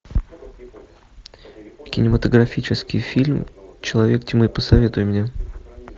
кинематографический фильм человек тьмы посоветуй мне